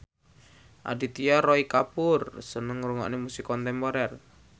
Aditya Roy Kapoor seneng ngrungokne musik kontemporer